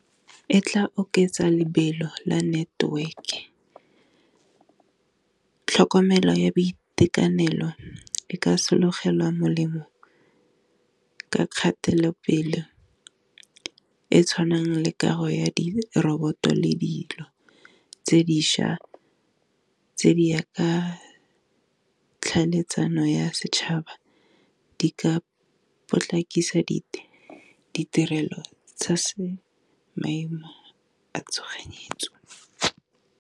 E tla oketsa lebelo la network-e tlhokomelo ya boitekanelo e ka sologela molemo ka kgatelopele e tshwanang le kago ya diroboto le dilo tse dišwa tse di ya ka tlhaeletsano ya setšhaba, di ka potlakisa di ditirelo tsa maemo a tshoganyetso.